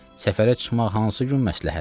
Səfərə çıxmaq hansı gün məsləhətdir?